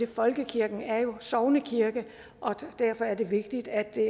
folkekirken er jo en sognekirke og derfor er det vigtigt at det